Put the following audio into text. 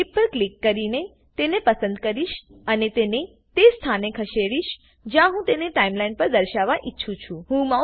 હું ક્લીપ પર ક્લિક કરીને તેને પસંદ કરીશ અને તેને તે સ્થાને ખસેડીશ જ્યાં હું તેને ટાઈમલાઈન પર દર્શાવવા ઈચ્છું છું